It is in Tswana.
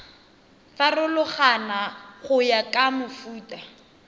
farologana go ya ka mofuta